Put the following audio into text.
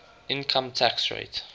income tax rate